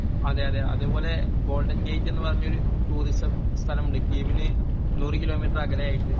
അതേ അതേ അത്പോലെ ഗോൾഡൻ ഗെയ്റ്റ് എന്ന് പറഞ്ഞ ഒരു ടൂറിസം സ്ഥലമുണ്ട് കീവിന് നൂറു കിലോമീറ്റര് അകലെ ആയിട്ട്